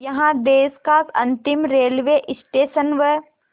यहाँ देश का अंतिम रेलवे स्टेशन व